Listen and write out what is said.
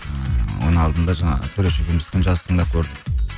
ыыы оның алдында жаңағы төреш екеуміздікін жазып тыңдап көрдік